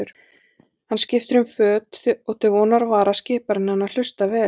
Hann skiptir um fót og til vonar og vara skipar hann henni að hlusta vel.